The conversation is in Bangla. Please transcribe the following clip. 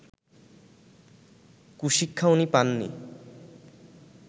কুশিক্ষা উনি পাননি